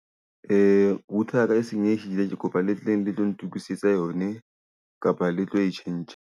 Router ya ka e senyehile, ke kopa le tleng le tlo ntokisetsa yone, kapa le tlo e change-a.